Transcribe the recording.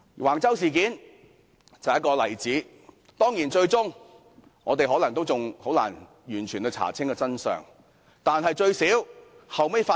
橫洲事件就是一個例子，當然，我們最終也未必能完全查出真相。